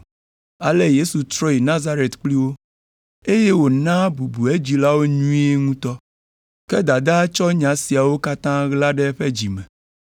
Ale Yesu trɔ yi Nazaret kpli wo, eye wònaa bubu edzilawo nyuie ŋutɔ. Ke dadaa tsɔ nya siawo katã ɣla ɖe eƒe dzi me.